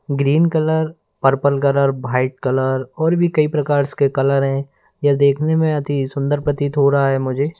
Green colour purple colour white colour और भी कई प्रकार्स के कलर हैं यह देखने में अति सुंदर प्रतीत हो रहा है मुझे।